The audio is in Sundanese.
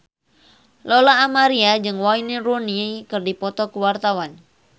Lola Amaria jeung Wayne Rooney keur dipoto ku wartawan